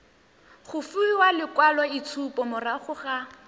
go fiwa lekwaloitshupo morago ga